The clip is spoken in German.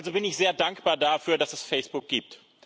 Also bin ich sehr dankbar dafür, dass es Facebook gibt.